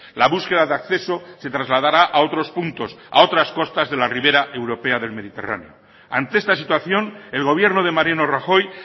la búsqueda de acceso se trasladará a otros puntos a otras costas de la ribera europea del mediterráneo ante esta situación el gobierno de mariano rajoy